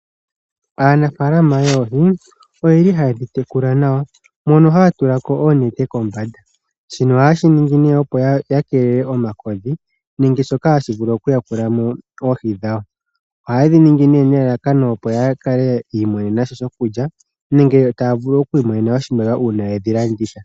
Aanafalama yoohi oye li haye dhi tekula nawa mono haya tulako oonete kombanda, shino oha ye shiningi opo ya keelele omakodhi nenge shoka hashi vulu okuyakulamo oohi dhawo. Oha ye dhi ningi nelalakano opo ya kale yiimonenemosha shokulya nenge taya vulu okwiimonena oshimaliwa uuna yedhi landitha.